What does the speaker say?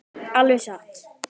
Alveg satt?